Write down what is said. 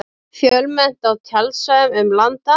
Fjölmennt á tjaldsvæðum um land allt